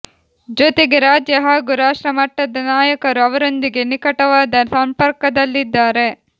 ಜೊತೆಗೆ ರಾಜ್ಯ ಹಾಗೂ ರಾಷ್ಟ್ರ ಮಟ್ಟದ ನಾಯಕರು ಅವರೊಂದಿಗೆ ನಿಖಟವಾದ ಸಂಪರ್ಕದಲ್ಲಿದ್ದಾರೆ